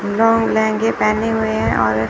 long लहंगे पेहने हुए हैं और --